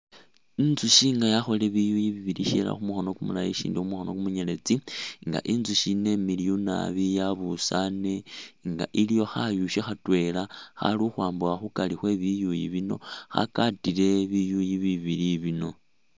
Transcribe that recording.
Intsushi nga yakholile biyuyi bibili shilala khumukhono kumulayi ishindi khumukhono kumunyeletsi nga intsushi yino imiliyu naabi nga yabusane, iliyo khayushi khatwela Khali khukhwabukha khukari khwe biyuyi bino khakatile biyuyi bibili bino